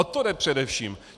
O to jde především.